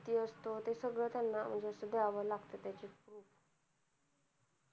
किती असत सगळ त्याना द्यावं लागत